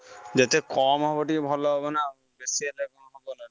ଯେତେ କମ୍ ହବ ଟିକେ ଭଲ ହବ ନା ଆଉ, ବେଶୀ ହେଲେ ଖରାପ।